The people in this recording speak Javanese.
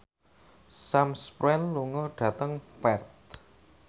Sam Spruell lunga dhateng Perth